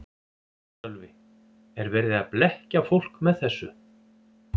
Sölvi: Er verið að blekkja fólk með þessu?